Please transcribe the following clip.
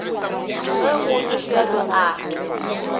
ge go le bjalo a